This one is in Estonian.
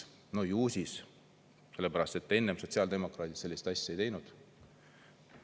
No ju siis, sellepärast, et enne sotsiaaldemokraadid sellist asja ei teinud.